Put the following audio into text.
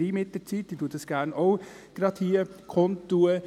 Deswegen werde ich dies auch gleich hier kundtun: